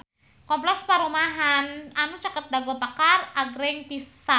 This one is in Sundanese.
Kompleks perumahan anu caket Dago Pakar agreng pisan